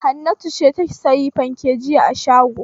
Hannatu ce ta sayi fanke jiya a shago.